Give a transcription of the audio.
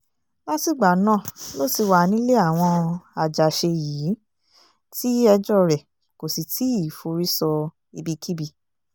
látìgbà náà ló ti wà nílé àwọn àjàṣe yìí tí ẹjọ́ rẹ̀ kò sì tì í forí sọ ibikíbi